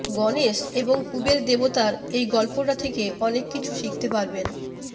গনেশ এবং কুবের দেবতার এই গল্পটা থেকে অনেক কিছু শিখতে পারবেন